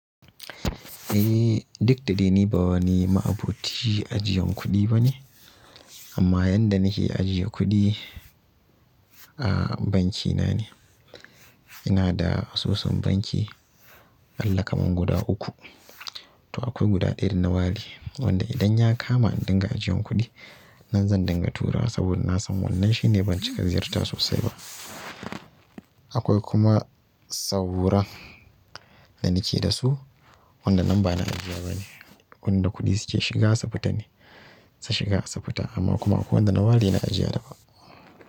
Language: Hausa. Eh, duk da dai ni ba wani ma'aboci ajiyan kuɗi bane, amma yanda nake ajiye kuɗi a banki na ne. Ina da asusun banki a ƙalla kaman guda uku. Toh akwai guda ɗaya da na ware, wanda idan ya kama dinga ajiyan kuɗi, nan zan dinga tura wa saboda na san wannan shine banki ka ziyarta sosai ba. Akwai kuma saura da nake da su wanda nan ba na ajiya ba ne, wanda kuɗi suke shiga, sa fita ne, su shiga su fita amma kuma akwai wanda nawali yana ajiya daban.